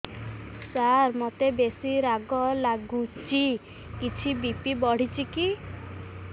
ସାର ମୋତେ ବେସି ରାଗ ଲାଗୁଚି କିଛି ବି.ପି ବଢ଼ିଚି କି